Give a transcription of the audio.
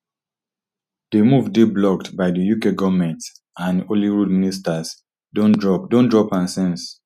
di move dey blocked by di uk goment and holyrood ministers don drop don drop am since